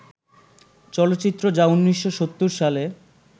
চলচ্চিত্র যা ১৯৭০ সালে